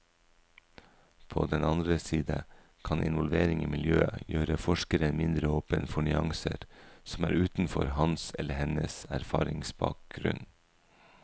På den andre side kan involvering i miljøet gjøre forskeren mindre åpen for nyanser som er utenfor hans eller hennes erfaringsbakgrunn.